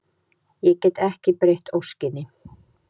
Ég get ekki breytt óskinni.